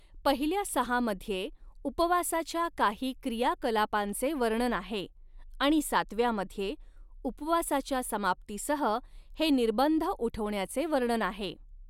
पहिल्या सहामध्ये उपवासाच्या काही क्रियाकलापांचे वर्णन आहे आणि सातव्यामध्ये उपवासाच्या समाप्तीसह हे निर्बंध उठवण्याचे वर्णन आहे.